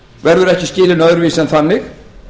verður ekki skilin öðruvísi en þannig